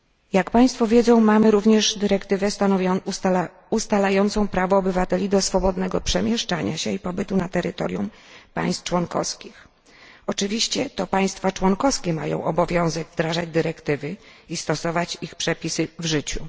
Jak Państwo wiedzą, mamy również dyrektywę ustalającą prawo obywateli do swobodnego przemieszczenia się i pobytu na terytorium państw członkowskich. Oczywiście to państwa członkowskie mają obowiązek wdrażać dyrektywy i stosować ich przepisy w życiu.